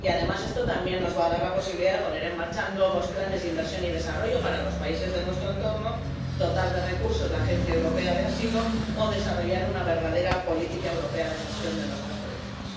Y además, esto también nos va a dar la posibilidad de poner en marcha nuevos planes de inversión y desarrollo para los países de nuestro entorno, dotar de recursos a la Oficina Europea de Apoyo al Asilo o desarrollar una verdadera política europea de gestión de nuestras fronteras.